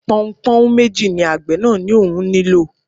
Pọnpọ́nhún méjì ni àgbẹ̀ náà ní òun nílò